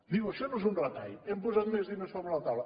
diu això no és un retall hem posat més diners sobre la taula